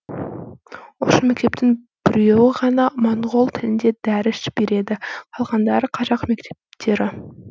осы мектептің біреуі ғана моңғол тілінде дәріс береді қалғандары қазақ мектептері